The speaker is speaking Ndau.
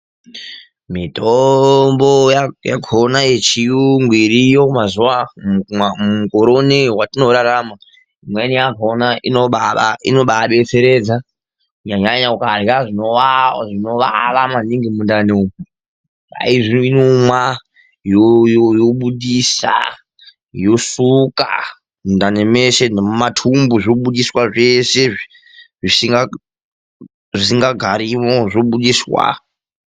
Mitombo yakona yechiyungu iriyo mazuwa ,mukore unoyi watinorarama imweni yakona inobayadetseredza kunyanyanyanya ukarya zvinowawa maningi mundani umwu kwai inomwa yobudisa yosuka mundani meshe nemumatumbu zvobudiswa zveshe zvisingagarimwo zvobudiswa.